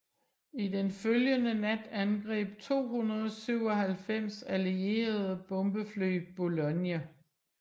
I den følgende nat angreb 297 allierede bombefly Boulogne